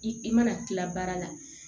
I i mana kila baara la